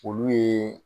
Olu ye